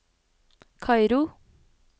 Kairo